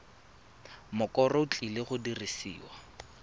mokoro o tlileng go dirisiwa